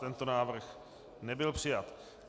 Tento návrh nebyl přijat.